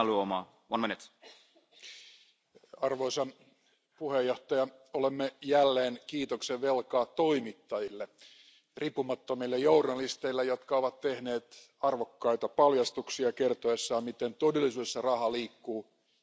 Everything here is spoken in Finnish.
Arvoisa puhemies, olemme jälleen kiitoksen velkaa toimittajille, riippumattomille journalisteille, jotka ovat tehneet arvokkaita paljastuksia kertoessaan, miten todellisuudessa raha liikkuu ja vastoin niitä sääntöjä, jotka meillä on.